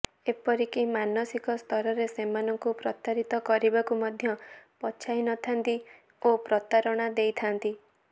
ଏପରିକି ମାନସିକ ସ୍ତରରେ ସେମାନଙ୍କୁ ପ୍ରତାରିତ କରିବାକୁ ମଧ୍ୟ ପଛାଇ ନଥାନ୍ତି ଓ ପ୍ରତାରଣା ଦେଇଥାନ୍ତି